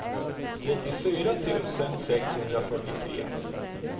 trettiofyra tusen sexhundrafyrtiotre